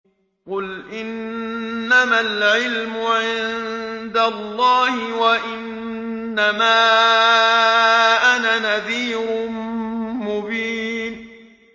قُلْ إِنَّمَا الْعِلْمُ عِندَ اللَّهِ وَإِنَّمَا أَنَا نَذِيرٌ مُّبِينٌ